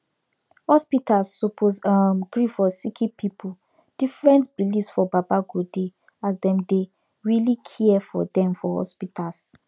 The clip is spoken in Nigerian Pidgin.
hospitas suppose um gree for sicki pipu different beliefs for baba godey as dem dey really care for dem for hospitas